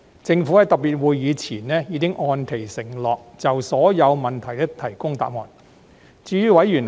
政府在特別會議前已按其承諾就所有問題提供答覆。